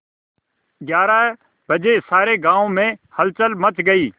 ग्यारह बजे सारे गाँव में हलचल मच गई